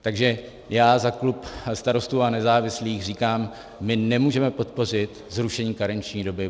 Takže já za klub Starostů a nezávislých říkám, my nemůžeme podpořit zrušení karenční doby.